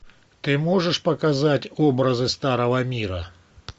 ты можешь показать образы старого мира